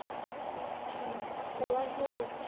অ', পলাশবাৰীৰ ক'ত ?